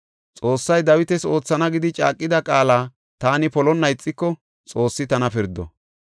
Xoossay Dawitas oothana gidi caaqida qaala taani polonna ixiko, Xoossi tana pirdo.